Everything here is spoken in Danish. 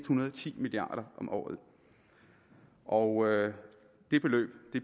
hundrede og ti milliard om året og det beløb